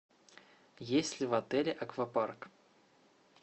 есть ли в отеле аквапарк